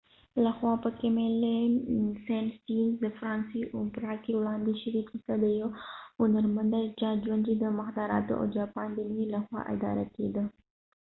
د camille saint saens لخوا په فرانسوي اوپرا کې وړاندې شوې قصه د یو هنرمند ده د چا ژوند چې د مخدراتو او جاپان د مینې لخوا اداره کیده